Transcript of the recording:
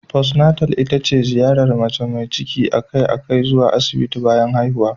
Postnatal ita ce ziyarar mace mai ciki a kai a kai zuwa Asibiti bayan haihuwa.